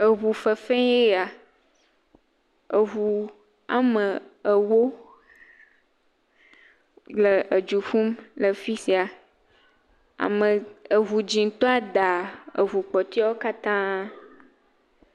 Eŋu veve ye ya, eŋu woame ewo le edzu ƒum le afi sia, eɖu dzɛtɔa da eŋu kpɔtɔewo kata.